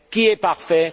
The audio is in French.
Qui est parfait?